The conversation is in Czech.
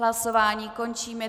Hlasování končím.